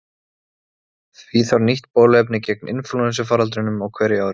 Því þarf nýtt bóluefni gegn inflúensufaraldrinum á hverju ári.